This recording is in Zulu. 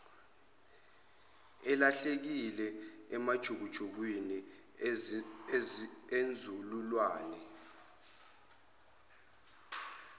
elahlekile emajukujukwini enzululwane